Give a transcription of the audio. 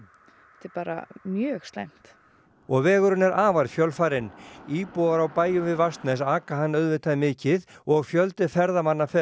er bara mjög slæmt og vegurinn er afar fjölfarinn íbúar á bæjum við Vatnsnes aka hann auðvitað mikið og fjöldi ferðamanna fer